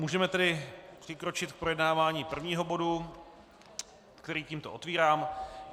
Můžeme tedy přikročit k projednávání prvního bodu, který tímto otevírám.